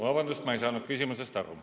Vabandust, ma ei saanud küsimusest aru.